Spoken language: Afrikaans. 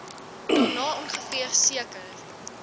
daarna ongeveer seker